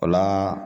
O la